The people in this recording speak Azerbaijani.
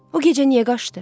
O gecə niyə qaçdı?